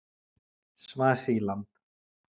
Svasíland